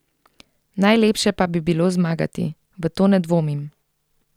Najlepše pa bi bilo zmagati, v to ne dvomim.